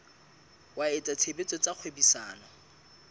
wa etsa tshebetso tsa kgwebisano